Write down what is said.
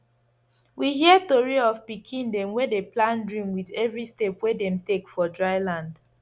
we hear tori of pikin dem wey dey plant dream with every step wey dem take for dry land